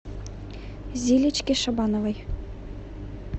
зилечке шабановой